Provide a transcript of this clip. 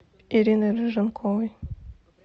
ириной рыженковой